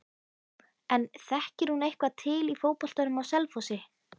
En þekkir hún eitthvað til í fótboltanum á Selfossi?